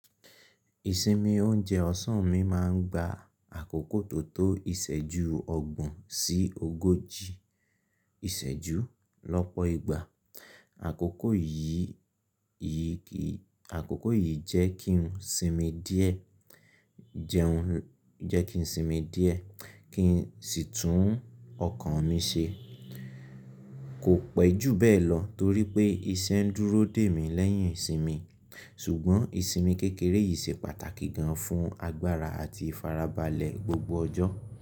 Ìsinmi oúnjẹ ọ̀sán mi máa ń gba àkókò tó tó ìṣẹ́jú ọgbọ̀n sí ogójì ìṣẹ́jú lọ́pọ̀ ìgbà. Àkókò yìí jẹ́ kí n sinmi díẹ̀, kí n sì tún ọkàn mi ṣe. Kò pẹ́ jù bẹ́ẹ̀ lọ torí pé iṣẹ́ ń dúró dè mí lẹ́yìn ìsinmi. Ṣùgbọ́n ìsinmi kékeré yìí ṣe pàtàkì gan an fún agbára àti ìfarabalẹ̀ gbogbo ọjọ́.